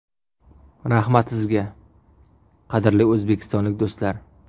Rahmat sizga, qadrli o‘zbekistonlik do‘stlar!